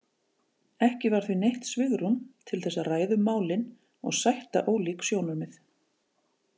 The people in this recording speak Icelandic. Ekki var því neitt svigrúm til þess að ræða um málin og sætta ólík sjónarmið.